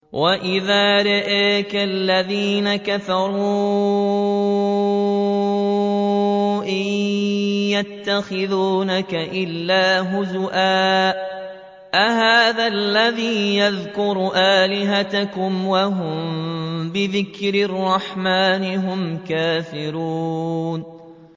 وَإِذَا رَآكَ الَّذِينَ كَفَرُوا إِن يَتَّخِذُونَكَ إِلَّا هُزُوًا أَهَٰذَا الَّذِي يَذْكُرُ آلِهَتَكُمْ وَهُم بِذِكْرِ الرَّحْمَٰنِ هُمْ كَافِرُونَ